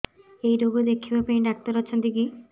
ଏଇ ରୋଗ ଦେଖିବା ପାଇଁ ଡ଼ାକ୍ତର ଅଛନ୍ତି କି